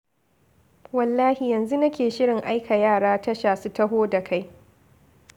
Wallahi yanzu nake shirin aika yara tasha su taho da kai.